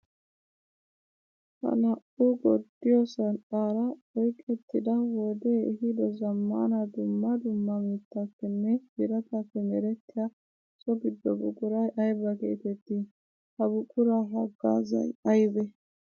Ha naa'u gorddiyo sanqqara oyqqettidda wode ehiido zamaana dumma dumma mittappenne biratappe merettiya so gido buquray aybba geetetti? Ha buqura hagaazay aybbe?